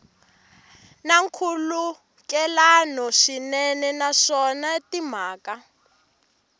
na nkhulukelano swinene naswona timhaka